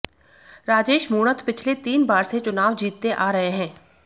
राजेश मूणत पिछले तीन बार से चुनाव जीतते आ रहे हैं